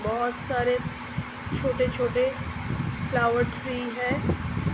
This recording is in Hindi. बहुत सारे छोटे-छोटे फ्लावर खिली है।